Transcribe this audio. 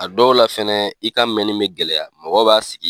A dɔw la fɛnɛ i ka mɛnni bɛ gɛlɛya mɔgɔw b'a sigi